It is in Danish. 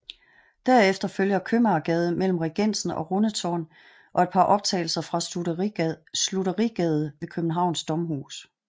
Derefter følger Købmagergade mellem Regensen og Rundetårn og et par optagelser fra Slutterigade ved Københavns Domhus